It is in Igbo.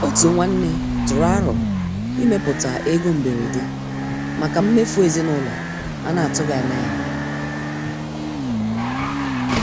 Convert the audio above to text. Òtù nwanne tụrụ àrò ịmèpụta égò mbèrédè maka mmèfù ezinúlọ̀ a na-atùghị anya ya.